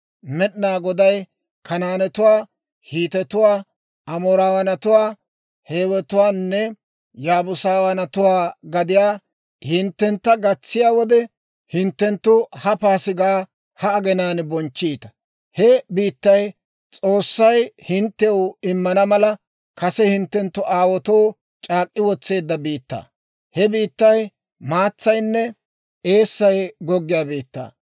Med'inaa Goday Kanaanetuwaa, Hiitetuwaa, Amoorawaanatuwaa, Hiiwetuwaanne Yaabuusawaanatuwaa gadiyaa hinttentta gatsiyaa wode, hinttenttu ha paasigaa ha aginaan bonchchiita. He biittay S'oossay hinttew immana mala, kase hinttenttu aawaatoo c'aak'k'i wotseedda biittaa. He biittay maatsaynne eessay goggiyaa biittaa.